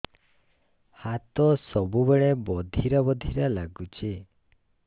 ହାତ ସବୁବେଳେ ବଧିରା ବଧିରା ଲାଗୁଚି